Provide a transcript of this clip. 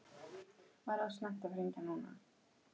Var of snemmt að hringja núna?